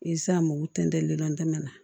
u tɛntɛ llɛntɛmɛ na